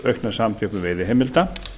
aukna samþjöppun veiðiheimilda